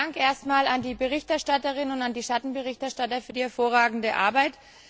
Vielen Dank erst einmal an die Berichterstatterin und an die Schattenberichterstatter für die hervorragende Arbeit.